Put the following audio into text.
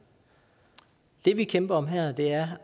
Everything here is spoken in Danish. det vil kæmper om her er